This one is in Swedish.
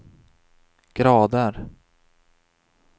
grader